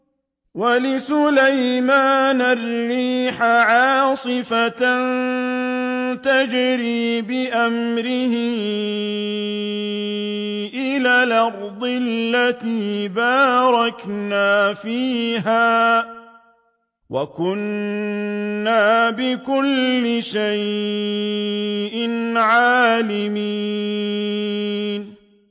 وَلِسُلَيْمَانَ الرِّيحَ عَاصِفَةً تَجْرِي بِأَمْرِهِ إِلَى الْأَرْضِ الَّتِي بَارَكْنَا فِيهَا ۚ وَكُنَّا بِكُلِّ شَيْءٍ عَالِمِينَ